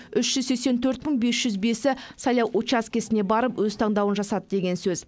үш жүз сексен төрт мың бес жүз бесі сайлау учаскесіне барып өз таңдауын жасады деген сөз